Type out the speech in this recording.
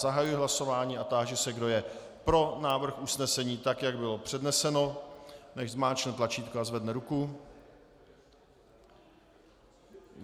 Zahajuji hlasování a táži se, kdo je pro návrh usnesení tak, jak bylo předneseno, nechť zmáčkne tlačítko a zvedne ruku.